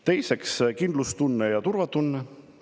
Teiseks, kindlustunne ja turvatunne.